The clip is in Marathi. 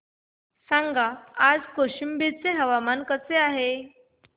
सांगा आज कौशंबी चे हवामान कसे आहे